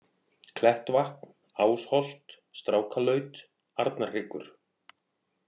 Klettvatn, Ásholt, Strákalaut, Arnarhryggur